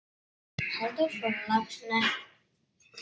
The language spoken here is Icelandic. Halldór frá Laxnesi?